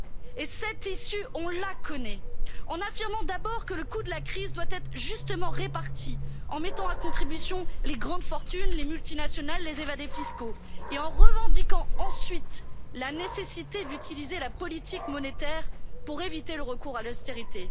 une issue. Et cette issue, on la connaît. En affirmant d'abord que le coût de la crise doit être justement réparti, en mettant à contribution les grandes fortunes, les multinationales, les évadés fiscaux, et en revendiquant ensuite la nécessité d'utiliser la politique monétaire pour éviter le recours